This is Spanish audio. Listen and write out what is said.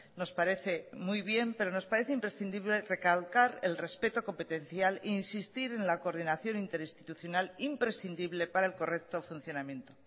nos parece muy bien pero nos parece imprescindible recalcar el respeto competencial e insistir en la coordinación interinstitucional imprescindible para el correcto funcionamiento